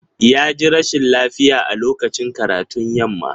Ya ji rashin lafiya a lokacin karatun yamma.